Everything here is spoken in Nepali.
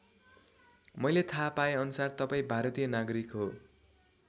मैले थाहा पाए अनुसार तपाईँ भारतीय नागरिक हो।